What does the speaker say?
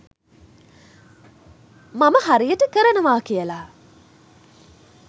මම හරියට කරනවා කියලා.